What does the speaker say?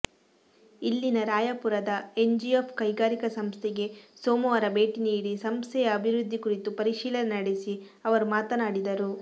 ಇಲ್ಲಿನ ರಾಯಪುರದ ಎನ್ಜಿಇಎಫ್ ಕೈಗಾರಿಕಾ ಸಂಸ್ಥೆಗೆ ಸೋಮವಾರ ಭೇಟಿ ನೀಡಿ ಸಂಸ್ಥೆಯ ಅಭಿವೃದ್ಧಿ ಕುರಿತು ಪರಿಶೀಲನೆ ನಡೆಸಿ ಅವರು ಮಾತನಾಡಿದರು